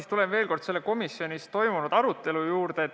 Ma tulen veel kord komisjonis toimunud arutelu juurde.